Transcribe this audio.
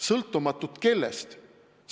Sõltumatud kellest?